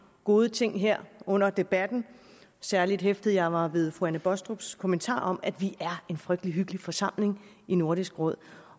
gode ting her under debatten særlig hæftede jeg mig ved fru anne baastrups kommentar om at vi er en frygtelig hyggelig forsamling i nordisk råd